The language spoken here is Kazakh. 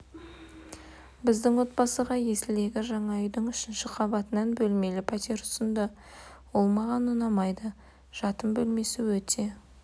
біздің отбасыға есілдегі жаңа үйдің үшінші қабатынан бөлмелі пәтер ұсынды ол маған ұнамайды жатын бөлмесі өте